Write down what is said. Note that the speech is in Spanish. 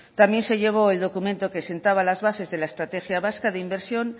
también se llevó el documento que sentaba las bases de la estrategia vasca de inversión